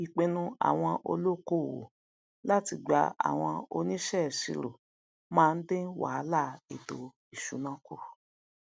ìpinnu àwọn olókoòwò láti gba àwọn oníṣẹisiro ma ndin wàhálà ètò ìṣúná ku